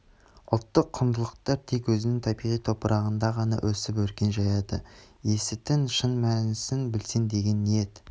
ұлттық құндылықтар тек өзінің табиғи топырағында ғана өсіп өркен жаяды ісітің шын мәнісін білсін деген ниет